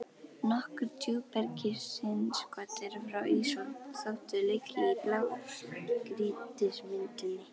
Nokkur djúpbergsinnskot eru frá ísöld þótt þau liggi í blágrýtismynduninni.